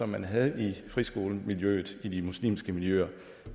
man havde i friskolemiljøet i de muslimske miljøer